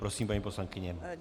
Prosím, paní poslankyně.